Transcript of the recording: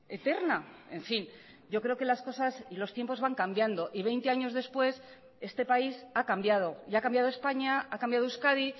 eterna en fin yo creo que las cosas y los tiempos van cambiando y veinte años después este país ha cambiado y ha cambiado españa ha cambiado euskadi